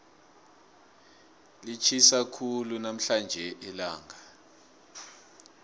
litjhisa khulu namhlanje ilanga